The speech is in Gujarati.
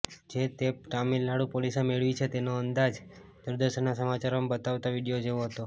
જે ટેપ તમિલનાડુ પોલીસે મેળવી છે તેનો અંદાજ દૂરદર્શનના સમાચારોમાં બતાવતાં વિડીયો જેવો હતો